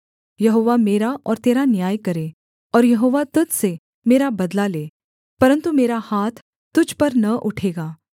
यहोवा मेरा और तेरा न्याय करे और यहोवा तुझ से मेरा बदला ले परन्तु मेरा हाथ तुझ पर न उठेगा